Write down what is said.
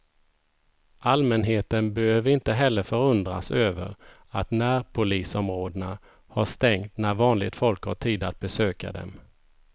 Allmänheten behöver inte heller förundras över att närpolisområdena har stängt när vanligt folk har tid att besöka dem.